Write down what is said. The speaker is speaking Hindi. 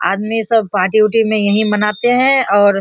आदमी सब पार्टी उटी में यही मानते है और --